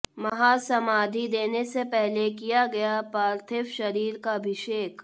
महासमाधी देने से पहले किया गया पार्थिव शरीर का अभिषेक